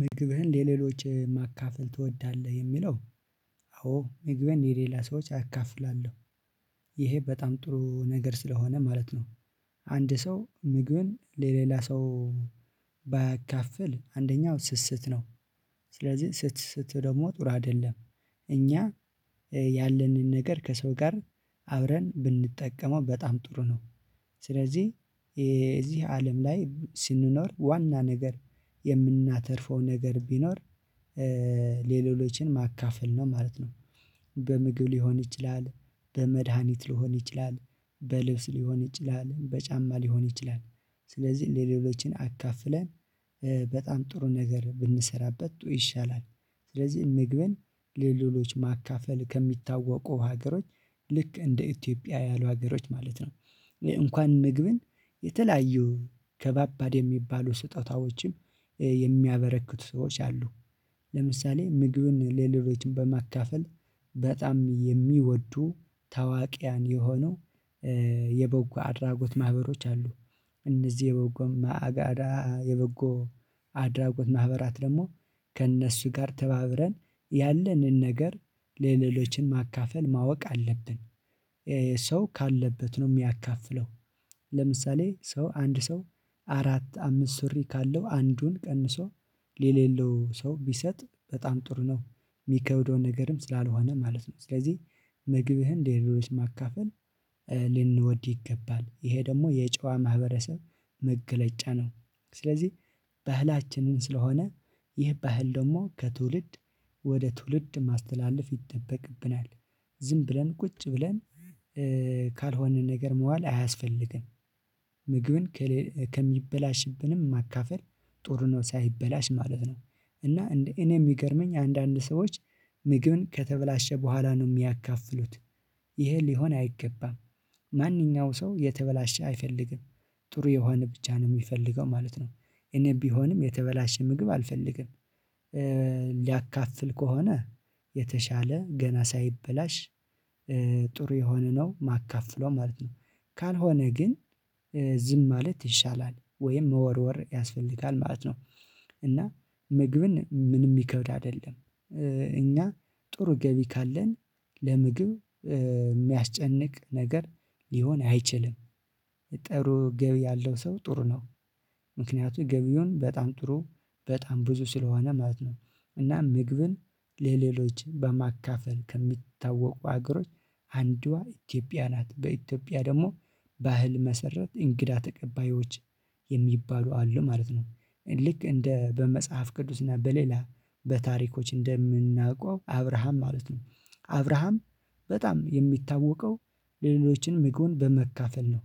ምግብህን ለሌሎች ማካፈል ትወዳለህ? የሚለው አዎ ምግቤን የሌላ ሰዎች አካፍላለሁ። ይሄ በጣም ጥሩ ነገር ስለሆነ ማለት ነው። አንድ ሰው ምግብን ለሌላ ሰው ባያካፍል አንደኛው ስስት ነው። ስለዚህ ስስት ደግሞ ጥሩ አይደለም። እኛ ያለንን ነገር ከሰው ጋር አብረን ብንጠቀመው በጣም ጥሩ ነው። ስለዚህ የዚህ አለም ላይ ስንኖር ዋና ነገር የምናተርፈው ነገር ቢኖር ሌሎችን ማካፈል ነው ማለት ነው። በምግብ ሊሆን ይችላል፣ በመድሃኒት ሊሆን ይችላል፣ በልብስ ሊሆን ይችላል፣ በጫማ ሊሆን ይችላል። ስለዚህ ለሌሎችን አካፍለን በጣም ጥሩ ነገር ብንሰራበት ይሻላል። ስለዚህ ምግብን ለሌሎች ማካፈል ከሚታወቁ ሀገሮች ልክ እንደ ኢትዮጵያ ያሉ ሀገሮች ማለት ነው። እንኳን ምግብን የተለያዩ ከባባድ የሚባሉ ስጦታዎችም የሚያበረክቱ ሰዎች አሉ። ለምሳሌ ምግብን ሌሎችን በማካፈል በጣም የሚወዱ ታዋቂያን የሆኑ የበጎ አድራጎት ማህበሮች አሉ። እነዚህ የበጎም አጋዳ የበጎ አድራጎት ማህበራት ደግሞ ከእነሱ ጋር ተባብረን ያለንን ነገር ለሌሎችን ማካፈል ማወቅ አለብን። ሰው ካለበት ነው የሚያካፍለው። ለምሳሌ ሰው አንድ ሰው አራት አምስት ሱሪ ካለው አንዱን ቀንሶ ለሌለው ሰው ቢሰጥ በጣም ጥሩ ነው። የሚከብደው ነገርም ስላልሆነ ማለት ነው። ስለዚህ ምግብህን ሌሎችን ማካፈል ልንወድ ይገባል። ይሄ ደግሞ የጨዋ ማህበረሰብ መገለጫ ነው። ስለዚህ ባህላችንም ስለሆነ ይህ ባህል ደግሞ ከትውልድ ወደ ትውልድ ማስተላለፍ ይጠበቅብናል። ዝም ብለን ቁጭ ብለን ካልሆነ ነገር መዋል አያስፈልግም። ምግብን ከሚበላሽብንም ማካፈል ጥሩ ነው። ሳይበላሽ ማለት ነው። እና እንደ እኔ የሚገርመኝ አንዳንድ ሰዎች ምግብን ከተበላሸ በኋላ ነው የሚያካፍሉት። ይሄ ሊሆን አይገባም። ማንኛውም ሰው የተበላሸ አይፈልግም። ጥሩ የሆነ ብቻ ነው የሚፈልገው ማለት ነው። እኔ ቢሆንም የተበላሸ ምግብ አልፈልግም። ሊያካፍል ከሆነ የተሻለ ገና ሳይበላሽ ጥሩ የሆነ ነው ማካፍለው ማለት ነው። ካልሆነ ግን ዝም ማለት ይሻላል ወይም መወርወር ያስፈልጋል ማለት ነው። እና ምግብን ምንም ሚከብድ አይደለም። እኛ ጥሩ ገቢ ካለን ለምግብ ሚያስጨንቅ ነገር ሊሆን አይችልም። ጥሩ ገቢ ያለው ሰው ጥሩ ነው። ምክንያቱም ገቢውን በጣም ጥሩ በጣም ብዙ ስለሆነ ማለት ነው። እና ምግብን ለሌሎች በማካፈል ከሚታወቁ ሀገሮች አንዷ ኢትዮጵያ ናት። በኢትዮጵያ ደግሞ ባህል መሰረት እንግዳ ተቀባዮች የሚባሉ አሉ ማለት ነው። ልክ እንደ በመጽሐፍ ቅዱስ እና በሌላ በታሪኮች እንደምናውቀው አብርሃም ማለት ነው። አብርሃም በጣም የሚታወቀው ለሌሎችንም ምግብ በመካፈል ነው።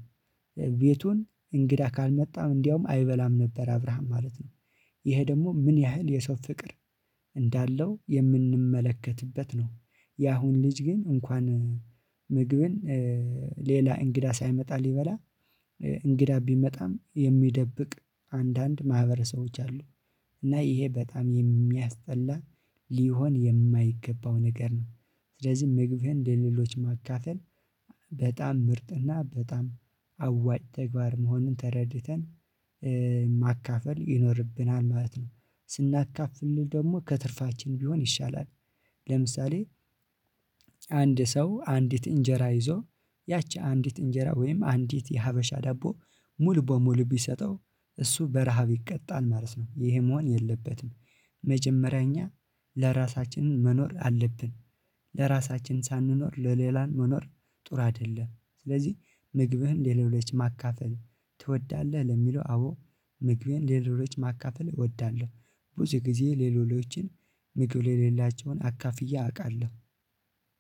ቤቱን እንግዳ ካልመጣም እንደውም አይበላም ነበር አብርሃም ማለት ነው። ይሄ ደግሞ ምን ያህል የሰው ፍቅር እንዳለው የምንመለከትበት ነው። ያሁን ልጅ ግን እንኳን ምግብን ሌላ እንግዳ ሳይመጣ ሊበላ እንግዳ ቢመጣም የሚደብቅ አንዳንድ ማህበረሰቦች አሉ። እና ይሄ በጣም የሚያስጠላ ሊሆን የማይገባው ነገር ነው። ስለዚህ ምግብን ለሌሎች ማካፈል በጣም ምርጥና በጣም አዋጭ ተግባር መሆንን ተረድተን ማካፈል ይኖርብናል ማለት ነው። ስናካፍልን ደግሞ ከትርፋችን ቢሆን ይሻላል። ለምሳሌ አንድ ሰው አንዲት እንጀራ ይዞ ያቺ አንዲት እንጀራ ወይም አንዲት የሀበሻ ዳቦ ሙሉ በሙሉ ቢሰጠው እሱ በረሃብ ይቀጣል ማለት ነው። ይሄ መሆን የለበትም። መጀመሪያ እኛ ለራሳችን መኖር አለብን። ለራሳችን ሳንኖር ለሌላን መኖር ጥሩ አይደለም። ስለዚህ ምግብህን ለሌሎች ማካፈል ትወዳለህ? ለሚለው አዎ ምግብህን ሌሎችን ማካፈል እወዳለሁ። ብዙ ጊዜ ሌሎችን ምግብ ሌላቸውን አካፍያ አውቃለሁ።